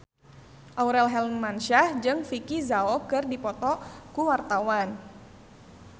Aurel Hermansyah jeung Vicki Zao keur dipoto ku wartawan